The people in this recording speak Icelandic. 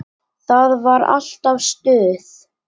Það var alltaf stuð.